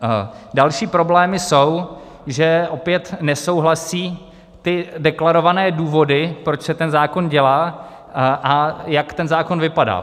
Další problémy jsou, že opět nesouhlasí ty deklarované důvody, proč se ten zákon dělá a jak ten zákon vypadá.